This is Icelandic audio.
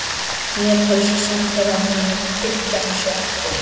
Nepölsk sendiráð munu fylgja þessu eftir